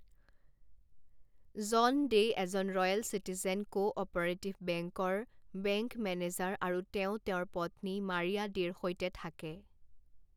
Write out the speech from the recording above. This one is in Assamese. জন ডে' এজন ৰয়েল চিটিজেন কো অ'পাৰেটিভ বেংকৰ বেংক মেনেজাৰ আৰু তেওঁ তেওঁৰ পত্নী মাৰিয়া ডেৰ সৈতে থাকে।